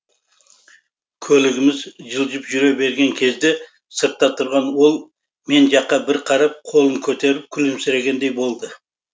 көлігіміз жылжып жүре берген кезде сыртта тұрған ол мен жаққа бір қарап қолын көтеріп күлімсірегендей болды